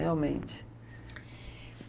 Realmente.